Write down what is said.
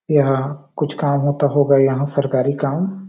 यहाँ कुछ काम होता होगा यहाँ सरकारी काम --